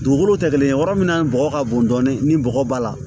Dugukolo tɛ kelen ye yɔrɔ min na bɔgɔ ka bon dɔɔnin ni bɔgɔ b'a la